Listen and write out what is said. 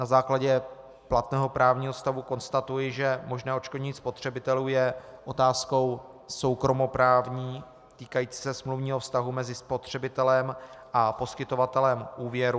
Na základě platného právního stavu konstatuji, že možné odškodnění spotřebitelů je otázkou soukromoprávní, týkající se smluvního vztahu mezi spotřebitelem a poskytovatelem úvěru.